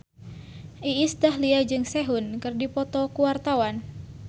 Iis Dahlia jeung Sehun keur dipoto ku wartawan